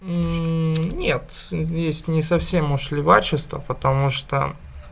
нет здесь не совсем уж левачество потому что